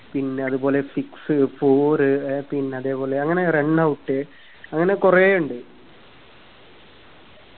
പിന്നതുപോലെ six four ഏർ പിന്നതെ പോലെ അങ്ങന runout അങ്ങനെ കുറെ ഇണ്ട്